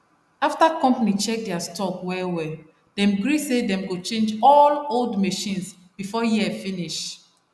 after company check their stock well well dem gree say dem go change all old machines before year finish